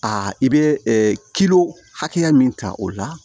Aa i bɛ hakɛya min ta o la